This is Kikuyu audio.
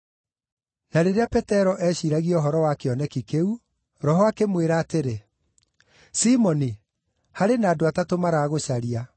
Na rĩrĩa Petero eeciiragia ũhoro wa kĩoneki kĩu, Roho akĩmwĩra atĩrĩ, “Simoni, harĩ na andũ atatũ maragũcaria.